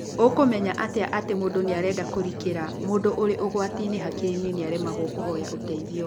Ũkũmenya atĩa atĩ mũndũ nĩarenda kũrikĩra. Mũndũ ũrĩ ũgwati-inĩ hakiri-inĩ nĩaremagwo kũhoya ũteithio